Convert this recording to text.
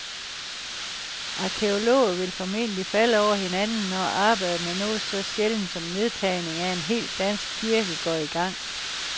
Arkæologer vil formentlig falde over hinanden, når arbejdet med noget så sjældent som nedtagning af en hel dansk kirke går i gang.